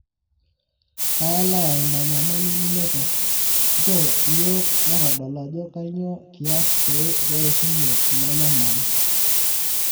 kaelewa ina nyamali ninoto ,nchoo yiok matodol ajo kainyoo kias peishunye ina nyamali]